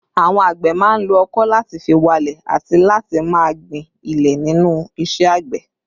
Àwọn àgbẹ̀ máa ń lo ọkọ̀ láti fi walẹ̀ àti láti máa gbin ilẹ̀ nínú iṣẹ́ àgbẹ̀